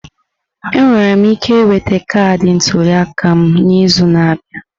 Enwere m ike ị nwete kaadị ntuli aka m n'izu na-abịa?